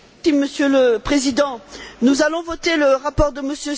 Monsieur le Président, nous allons voter le rapport de M.